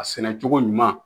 A sɛnɛ cogo ɲuman